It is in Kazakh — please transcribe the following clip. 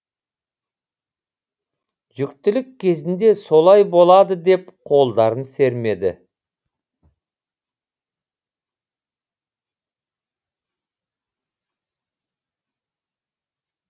жүктілік кезінде солай болады деп қолдарын сермеді